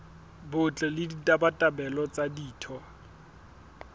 botle le ditabatabelo tsa ditho